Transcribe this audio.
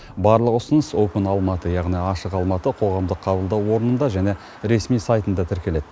барлық ұсыныс опен алматы яғни ашық алматы қоғамдық қабылдау орнында және ресми сайтында тіркеледі